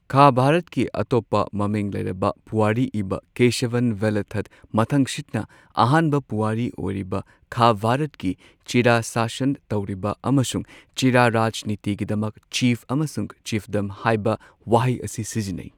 ꯈꯥ ꯚꯥꯔꯠꯀꯤ ꯑꯇꯣꯞꯄ ꯃꯃꯤꯡ ꯂꯩꯔꯕ ꯄꯨꯋꯥꯔꯤ ꯏꯕ ꯀꯦꯁꯥꯚꯟ ꯚꯦꯂꯨꯊꯥꯠꯅ ꯃꯊꯪꯁꯤꯠꯅ ꯑꯍꯥꯟꯕ ꯄꯨꯋꯥꯔꯤ ꯑꯣꯏꯔꯤꯕ ꯈꯥ ꯚꯥꯔꯠꯀꯤ ꯆꯦꯔꯥ ꯁꯥꯁꯟ ꯇꯧꯔꯤꯕ ꯑꯃꯁꯨꯡ ꯆꯦꯔꯥ ꯔꯥꯖꯅꯤꯇꯤꯒꯤꯗꯃꯛ ꯆꯤꯐ ꯑꯃꯁꯨꯡ ꯆꯤꯐꯗꯝ ꯍꯥꯏꯕ ꯋꯥꯍꯩ ꯑꯁꯤ ꯁꯤꯖꯤꯟꯅꯩ꯫